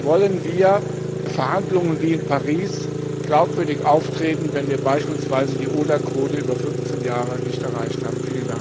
Wie wollen wir bei Verhandlungen wie in Paris glaubwürdig auftreten, wenn wir beispielsweise die ODA Quote über 15 Jahre nicht erreicht haben?